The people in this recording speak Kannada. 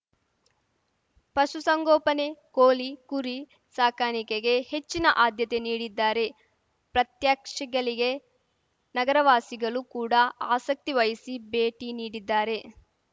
ಪಶುಸಂಗೋಪನೆ ಕೋಲಿ ಕುರಿ ಸಾಕಾನಿಕೆಗೆ ಹೆಚ್ಚಿನ ಆದ್ಯತೆ ನೀಡಿದ್ದಾರೆ ಪ್ರಾತ್ಯಕ್ಷಿಗಳಿಗೆ ನಗರವಾಸಿಗಲು ಕೂಡ ಆಸಕ್ತಿ ವಹಿಸಿ ಭೇಟಿ ನೀಡಿದ್ದಾರೆ